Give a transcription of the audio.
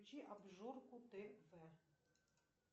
включи обжорку тв